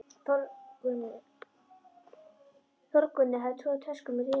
Þórgunnur hafði troðið tuskum í rifurnar.